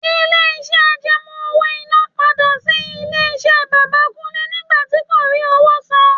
Ilé-iṣẹ́ àjẹmó owó-iná padà tí ilé-iṣẹ́ bàbà Kúnlẹ́ nígbà tí kò rí owó san.